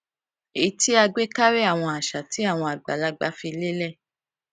èyí tí a gbé karí àwọn àṣà tí àwọn àgbàlagbà fi lélè